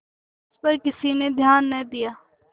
इस पर किसी ने ध्यान न दिया